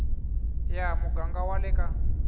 ya muganga wa le ka